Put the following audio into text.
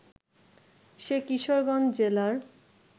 সে কিশোরগঞ্জ জেলার